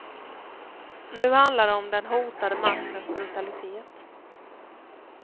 Nu handlar det om den hotade maktens brutalitet.